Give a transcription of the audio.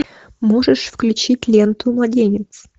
можешь включить ленту младенец